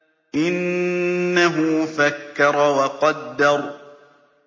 إِنَّهُ فَكَّرَ وَقَدَّرَ